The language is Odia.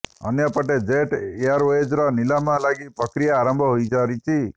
ଅନ୍ୟପେଟ ଜେଟ୍ ଏୟାରୱେଜ୍ର ନିଲାମ ଲାଗି ପ୍ରକ୍ରିୟା ଆରମ୍ଭ ହୋଇସାରିଛି